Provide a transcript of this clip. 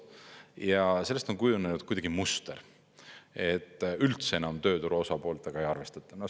Ja sellest on kujunenud kuidagi muster, et üldse enam tööturu osapooltega ei arvestata.